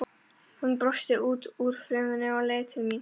Hann brosti út úr fuminu og leit til mín.